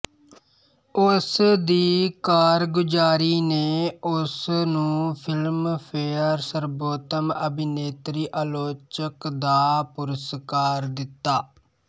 ਉਸ ਦੀ ਕਾਰਗੁਜ਼ਾਰੀ ਨੇ ਉਸ ਨੂੰ ਫ਼ਿਲਮਫੇਅਰ ਸਰਬੋਤਮ ਅਭਿਨੇਤਰੀ ਆਲੋਚਕ ਦਾ ਪੁਰਸਕਾਰ ਦਿੱਤਾ